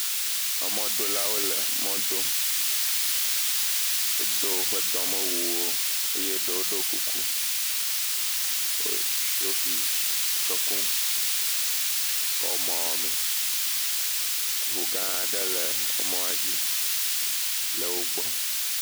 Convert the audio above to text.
Emɔ dolawo le mɔ dom, o do o ƒe dɔ me wuwo, eye ɖowo ɖo kuku, o shofi ke kum, kɔ emɔa wɔ me, ʋu gã ɖe le emɔa dzi, le o gbɔ.